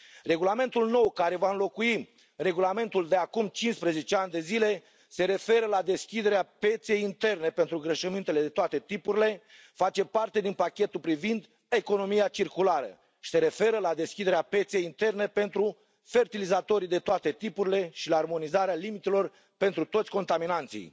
Regulamentul nou, care va înlocui regulamentul de acum 15 ani de zile, se referă la deschiderea pieței interne pentru îngrășămintele de toate tipurile, face parte din pachetul privind economia circulară și se referă la deschiderea pieței interne pentru fertilizatorii de toate tipurile și la armonizarea limitelor pentru toți contaminanții.